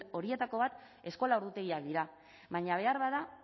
horietako bat eskola ordutegiak dira baina beharbada